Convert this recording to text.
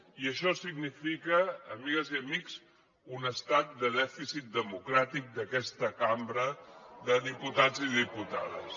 i això significa amigues i amics un estat de dèficit democràtic d’aquesta cambra de diputats i diputades